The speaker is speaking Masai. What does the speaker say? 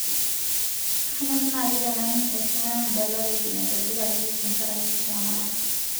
kanyor naaji naning' esiana nadalareki naitobiraki tenkaraki kiama ai